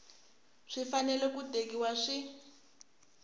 swi fanele swi tekiwa swi